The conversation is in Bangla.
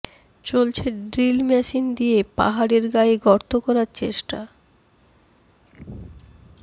চলছে ড্রিল মেশিন দিয়ে পাহাড়ের গায়ে গর্ত করার চেষ্টা